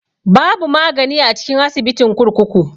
Babu magani a cikin asibitin kurkuku.